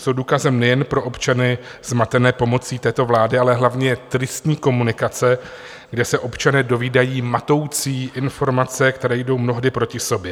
Jsou důkazem nejen pro občany zmatené pomocí této vlády, ale hlavně tristní komunikace, kde se občané dovídají matoucí informace, které jdou mnohdy proti sobě.